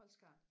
Holst Garn